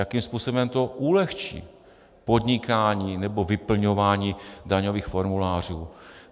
Jakým způsobem to ulehčí podnikání nebo vyplňování daňových formulářů?